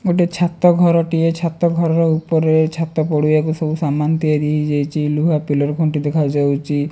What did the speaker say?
ଗୋଟେ ଛାତ ଘରଟିଏ ଛାତ ଘରର ଉପରେ ଛାତ ପଡ଼ିବାକୁ ସବୁ ସାମାନ୍ ତିଆରି ହେଇଯାଇଛି ଲୁହା ପିଲର୍ ଖୁଣ୍ଟି ଦେଖାଯାଉଚି।